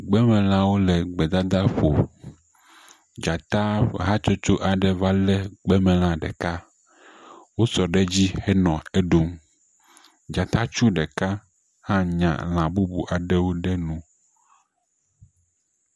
Gbemelawo le gbedadaƒo. dzata hatsotso aɖe va le gbemela ɖeka. Wosɔ ɖe edzi henɔ eɖum. Dzatatsu ɖeka hã nya la bubu aɖewo ɖe nu.